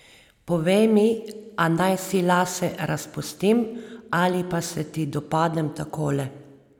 Povej mi, a naj si lase razpustim ali pa se ti dopadem takole?